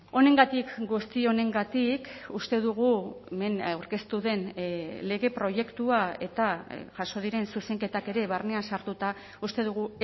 honengatik guzti honengatik uste dugu hemen aurkeztu den lege proiektua eta jaso diren zuzenketak ere barnean sartuta uste dugu